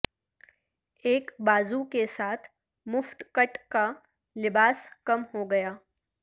ایک بازو کے ساتھ مفت کٹ کا لباس کم ہوگیا